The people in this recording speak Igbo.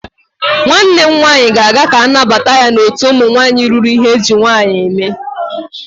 Nwanne m nwaanyị ga-aga ka a nabata ya n'otu ụmụ nwaanyị ruru ihe eji nwaanyị eme.